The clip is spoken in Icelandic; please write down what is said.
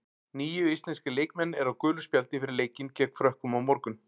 Níu íslenskir leikmenn eru á gulu spjaldi fyrir leikinn gegn Frökkum á morgun.